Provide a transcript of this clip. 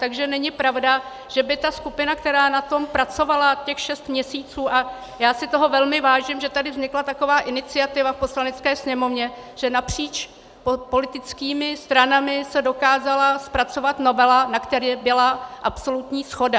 Takže není pravda, že by ta skupina, která na tom pracovala těch šest měsíců - a já si toho velmi vážím, že tady vznikla taková iniciativa v Poslanecké sněmovně, že napříč politickými stranami se dokázala zpracovat novela, na které byla absolutní shoda.